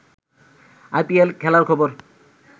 I P L খেলার খবর